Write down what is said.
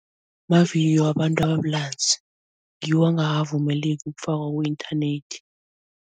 wabantu abulanzi, ngiwo angakavumeleki ukufakwa ku-inthanethi.